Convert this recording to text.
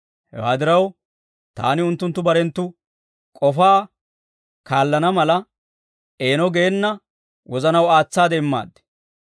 Hewaa diraw, taani unttunttu barenttu k'ofaa kaallana mala, eeno geena wozanaw aatsaade immaad.